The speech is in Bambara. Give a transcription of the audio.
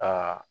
Aa